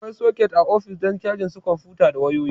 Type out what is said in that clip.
Akwai soket a ofis don cajin su kwamfuta da wayoyi